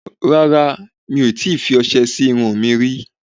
Rárá, mi ò tí ì fi ọsẹ̀ sí irun mi rí